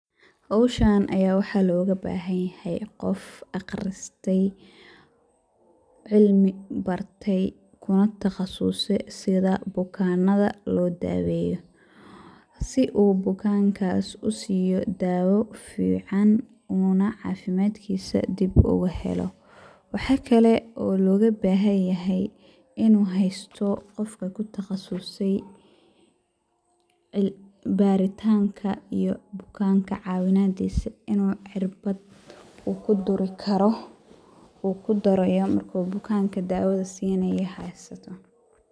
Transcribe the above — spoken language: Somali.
Hawshaan ayaa waxaa looga baahan yahay qof akhristay ,cilmi bartay kuna takhasusay sida bukannada loo daaweyo .Si uu bukankaas u siiyo daawo fiican uuna cafimadkiisa dibu ugu helo. Waxa kale oo looga baahan yahay inuu haysto qofka ku takhasusay ,baritaanka iyo bukaanka cawinadiisa inuu cirbad uu ku duri karo ,uu ku durayo markuu bukaanka daawada sinayo.